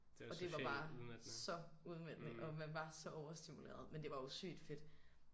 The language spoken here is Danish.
Og det var bare så udmattende og man var så overstimuleret men det var jo sygt fedt